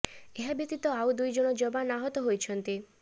ଏହା ବ୍ୟତୀତ ଆଉ ଦୁଇ ଜଣ ଯବାନ ଆହତ ହୋଇଛନ୍ତି